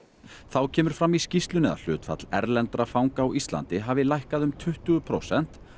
þá kemur fram í skýrslunni að hlutfall erlendra fanga á Íslandi hafi lækkað um tuttugu prósent